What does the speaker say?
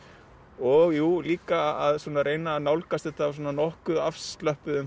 og jú líka að reyna að nálgast þetta með svona nokkuð